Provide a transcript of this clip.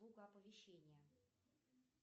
оповещения